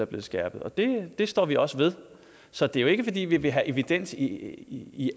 blevet skærpet det står vi også ved så det er jo ikke fordi vi vil have evidens i i